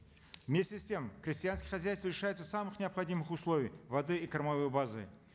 вместе с тем крестьянские хозяйства лишаются самых необходимых условий воды и кормовой базы